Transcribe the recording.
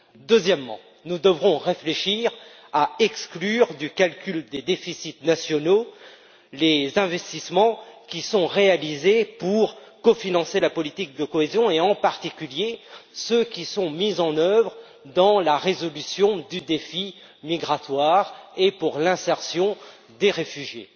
Deuxièmement, nous devrons réfléchir à exclure du calcul des déficits nationaux les investissements réalisés pour cofinancer la politique de cohésion, et en particulier ceux mis en œuvre dans la résolution du défi migratoire et pour l'insertion des réfugiés.